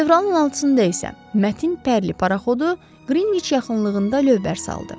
Fevralın 6-da isə Mətin Pərli paraxodu Qrinviç yaxınlığında lövbər saldı.